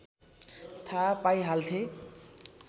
थाहा पाइहाल्थे